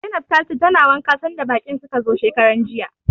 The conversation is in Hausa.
Zainab tace tana wanka sanda baƙin suka zo shekaranjiya.